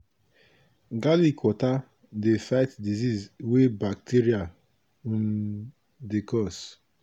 garlic water dey fight disease wey bacteria um dey cause.